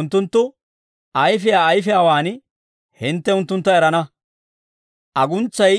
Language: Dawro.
Unttunttu ayfiyaa ayfiyaawaan hintte unttuntta erana; aguntsay